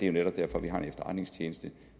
jo netop derfor vi har en efterretningstjeneste